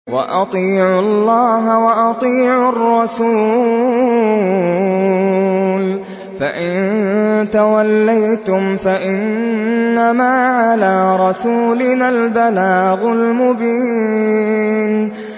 وَأَطِيعُوا اللَّهَ وَأَطِيعُوا الرَّسُولَ ۚ فَإِن تَوَلَّيْتُمْ فَإِنَّمَا عَلَىٰ رَسُولِنَا الْبَلَاغُ الْمُبِينُ